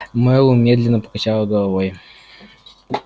мэллоу медленно покачал головой